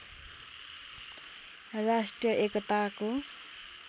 राष्ट्रिय एकताको